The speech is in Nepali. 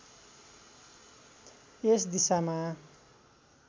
यस दिशामा